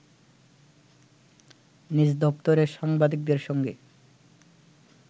নিজ দপ্তরে সাংবাদিকদের সঙ্গে